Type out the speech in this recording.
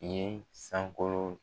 ye sankolo.